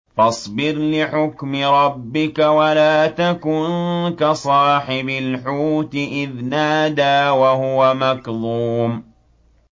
فَاصْبِرْ لِحُكْمِ رَبِّكَ وَلَا تَكُن كَصَاحِبِ الْحُوتِ إِذْ نَادَىٰ وَهُوَ مَكْظُومٌ